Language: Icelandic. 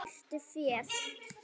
Hirtu féð!